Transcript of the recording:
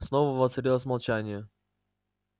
снова воцарилось молчание